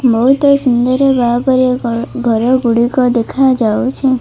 ବହୁତ ସୁନ୍ଦର ଘର ଗୋଟିକ ଦେଖା ଯାଉଛି।